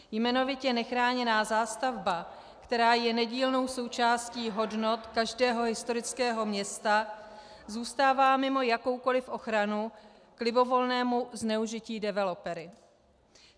Jmenovitě nechráněná zástavba, která je nedílnou součástí hodnot každého historického města, zůstává mimo jakoukoliv ochranu k libovolnému zneužití developery.